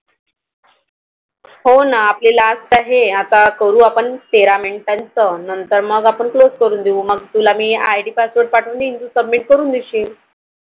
हो ना आपली Last आहे आता करू आपण तेरा Minute च नंतर मग आपण Close करून देऊ मग मी तुला IDPassword पाठवून देईल तू submit करून देशील. i